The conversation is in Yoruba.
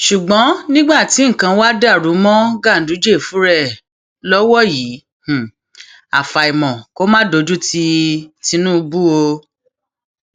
ṣùgbọn nígbà tí nǹkan wàá dàrú mọ ganduje fúnra ẹ lọwọ yìí àfàìmọ kó má dojútì tìǹbù o